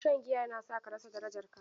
Shan giya yana sa ka rasa darajarka.